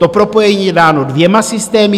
To propojení je dáno dvěma systémy.